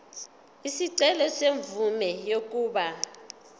isicelo semvume yokuba